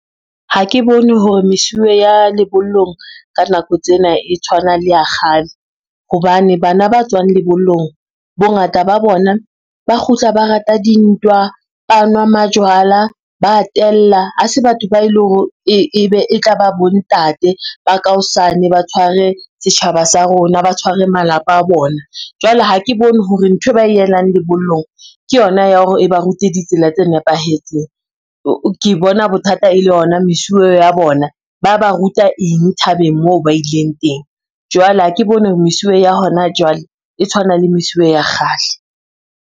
Ha ke bone hore mesuwe ya lebollong ka nako tsena e tshwana le ya kgale, hobane bana ba tswang lebollong bongata ba bona ba kgutla ba rata dintwa, ba nwa majwala, ba a tella. Ha se batho ba e le hore e be e tla ba bontate ba ka hosane ba tshware setjhaba sa rona ba tshware malapa a bona. Jwale ha ke bone hore nthwe ba e elang lebollong ke yona ya hore e ba rute ditsela tse nepahetseng ke bona bothata e le ona mesuwe ya bona ba ba ruta eng thabeng moo ba ileng teng, jwale ha ke bone mesuwe ya hona jwale e tshwana le mesuwe ya kgale.